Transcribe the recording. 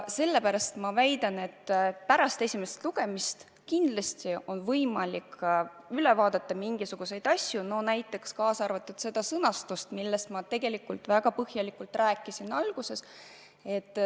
Sellepärast ma väidan, et pärast esimest lugemist kindlasti on võimalik mingisuguseid asju üle vaadata, kaasa arvatud seda sõnastust, millest ma tegelikult väga põhjalikult rääkisin.